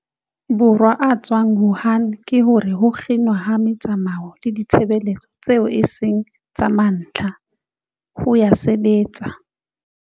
Borwa a tswang Wuhan ke hore ho kginwa ha metsamao le ditshebeletso tseo e seng tsa mantlha, ho a sebetsa.